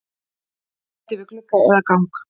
Sæti við glugga eða gang?